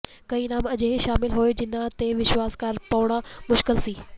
ਕਈ ਨਾਮ ਅਜਿਹੇ ਸ਼ਾਮਿਲ ਹੋਏ ਜਿਨ੍ਹਾਂ ਤੇ ਵਿਸ਼ਵਾਸ ਕਰ ਪਾਉਣਾ ਮੁਸ਼ਕਿਲ ਸੀ